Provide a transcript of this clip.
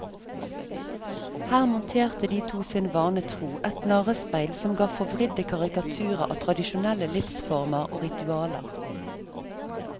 Her monterte de to sin vane tro et narrespeil som ga forvridde karikaturer av tradisjonellere livsformer og ritualer.